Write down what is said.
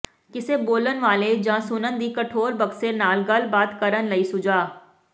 ਕਿਸੇ ਬੋਲਣ ਵਾਲੇ ਜਾਂ ਸੁਣਨ ਦੀ ਕਠੋਰ ਬਕਸੇ ਨਾਲ ਗੱਲਬਾਤ ਕਰਨ ਲਈ ਸੁਝਾਅ